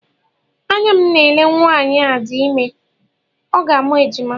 Anya m na-ele nwaanyị a dị ime, ọ ga-amụ ejima